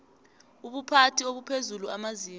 ubuphathi obuphezulu amazinga